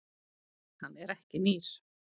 Hann er ekki nýr.